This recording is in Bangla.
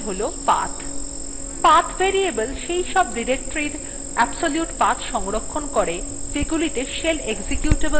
path path variable সেই সব ডিরেক্টরীর এর absolute path সংরক্ষণ করে যেগুলিতে shell executable command এর অবস্থান অনুসন্ধান করে